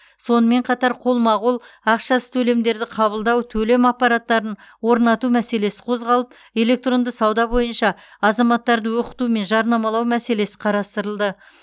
сонымен қатар қолма қол ақшасыз төлемдерді қабылдау төлем аппараттарын орнату мәселесі қозғалып электронды сауда бойынша азаматтарды оқыту мен жарнамалау мәселесі қарастырылды